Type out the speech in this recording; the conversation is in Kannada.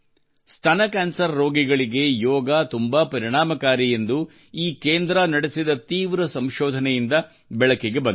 ಸ್ತನ ಕ್ಯಾನ್ಸರ್ ರೋಗಿಗಳಿಗೆ ಯೋಗವು ತುಂಬಾ ಪರಿಣಾಮಕಾರಿ ಎಂದು ಈ ಕೇಂದ್ರ ನಡೆಸಿದ ತೀವ್ರ ಸಂಶೋಧನೆಯಿಂದ ಬೆಳಕಿಗೆ ಬಂದಿದೆ